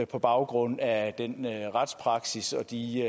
på baggrund af den retspraksis og de